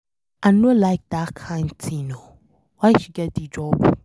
I no like dat kin thing oo, why she get the job?